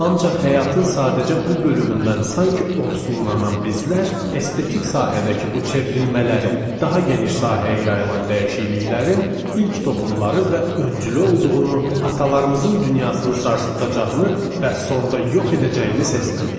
Ancaq həyatın sadəcə bu bölümündən sanki ovsunlanan bizlər, estetik sahədəki bu çevrilmələrin, daha geniş sahəyə yayılan dəyişikliklərin ilk toxumları və öncülü olduğunu atalarımızın dünyasını sarsıdacağını və sonda yox edəcəyini sezmədik.